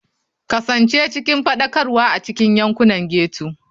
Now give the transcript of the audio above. Kasance cikin faɗakarwa a cikin yankunan ghetto.